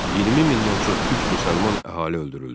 20 mindən çox türk müsəlman əhali öldürüldü.